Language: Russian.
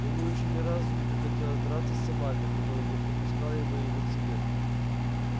ему ещё ни разу не приходилось драться с собакой которая не подпускала бы его к себе